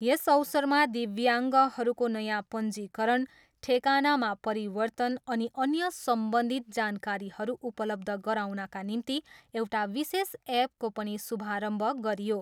यस अवसरमा दिव्याङ्गहरूको नयाँ पञ्जीकरण, ठेकानाामा परिवर्तन अनि अन्य सम्बन्धित जानकारीहरू उपलब्ध गराउनका निम्ति एउटा विशेष एपको पनि शुभारम्भ गरियो।